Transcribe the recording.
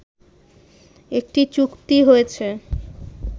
একটি চুক্তি হয়েছে